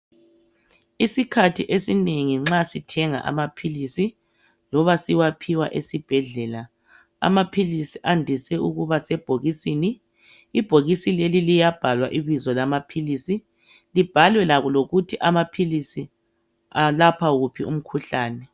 Isikhathi esinengi nxa sithenga amaphilisi loba siwaphiwa esibhedlela amaphilisi andise ukuba sebhokisini, ibhokisi leli liyabhalwa ibizo lamaphilisi libhalwe lokuthi amaphilisi alapha wuphi umkhuhlane.